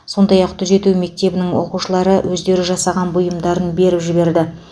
сондай ақ түзету мектебінің оқушылары өздері жасаған бұйымдарын беріп жіберді